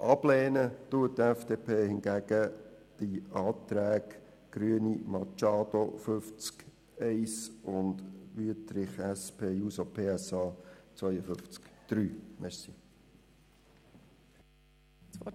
Sie lehnt hingegen die Anträge Grüne/Machado zu Artikel 50 Absatz 1 und Wüthrich/SP-JUSO-PSA zu Artikel 52 Absatz 3 ab.